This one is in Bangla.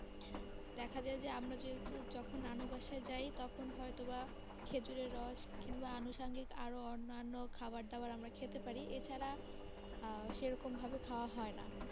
দেখা যাই যে আমরা যেহেতু যখন নানু বাসা যাই, তখন হয়তো বা খেজুরের রস কিংবা আনুসাঙ্গিক আরো অন্যান্য খাবার দাবার খেতে পারি, এছাড়া আঃ সেই রকম ভাবে খাওয়া হয় না.